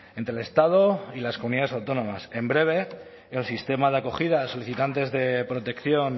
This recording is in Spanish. entre el estado y las comunidades autónomas en breve el sistema de acogida a solicitantes de protección